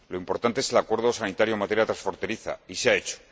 lo importante es el acuerdo sanitario en materia transfronteriza, y se ha hecho.